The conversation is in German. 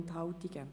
Enthalten